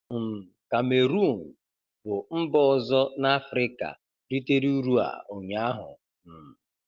um Kamerọọn bụ mba ọzọ n'Afịrịka ritere uru a ụnyaahụ. um